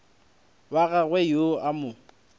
wa gagwe yo a mo